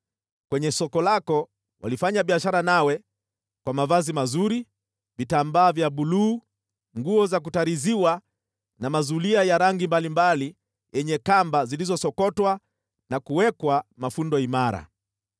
Kwenye soko lako, walifanya biashara nawe kwa mavazi mazuri, vitambaa vya buluu, nguo za kutariziwa na mazulia ya rangi mbalimbali yenye kamba zilizosokotwa na kuwekwa mafundo imara.